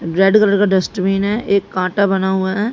Red colour का dustbin है। एक कांटा बना हुआ है।